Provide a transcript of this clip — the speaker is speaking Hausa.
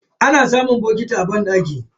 Ana samun bokiti a banɗaki.